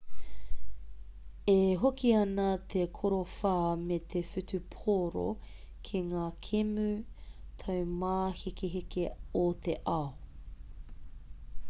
e hoki ana te korowha me te whutupōro ki ngā kēmu taumāhekeheke o te ao